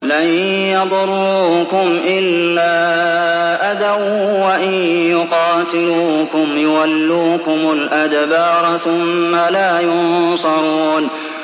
لَن يَضُرُّوكُمْ إِلَّا أَذًى ۖ وَإِن يُقَاتِلُوكُمْ يُوَلُّوكُمُ الْأَدْبَارَ ثُمَّ لَا يُنصَرُونَ